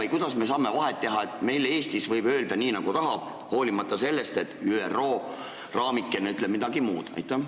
Või kuidas me saame teha vahet, et Eestis võime öelda, nii nagu tahame, hoolimata sellest, et ÜRO raamikene ütleb midagi muud?